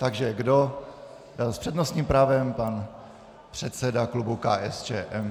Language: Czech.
Takže kdo - s přednostním právem pan předseda klubu KSČM.